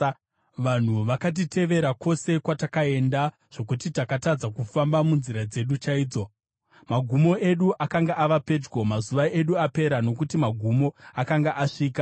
Vanhu vakatitevera kwose kwatakaenda, zvokuti takatadza kufamba munzira dzedu chaidzo. Magumo edu akanga ava pedyo, mazuva edu apera, nokuti magumo akanga asvika.